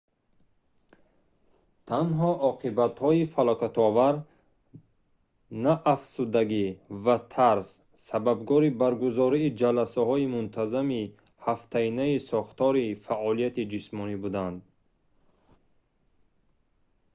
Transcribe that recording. танҳо оқибатҳои фалокатовар на афсурдагӣ ва тарс сабабгори баргузории ҷаласаҳои мунтазами ҳафтаинаи сохтории фҷ фаъолияти ҷисмонӣ буданд